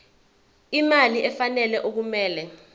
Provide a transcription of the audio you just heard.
imali efanele okumele